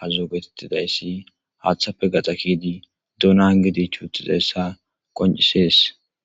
aazi geetetizaysi haathape gaxa ke'idi duuna hangidi ichitudaysa qoncises.